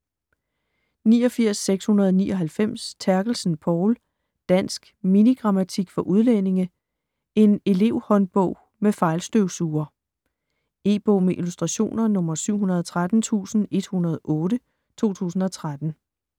89.699 Terkelsen, Povl: Dansk mini-grammatik for udlændinge: en elevhåndbog med fejlstøvsuger E-bog med illustrationer 713108 2013.